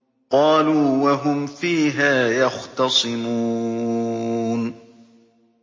قَالُوا وَهُمْ فِيهَا يَخْتَصِمُونَ